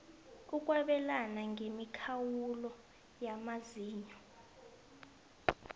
ukwabelana ngemikhawulo yamazinyo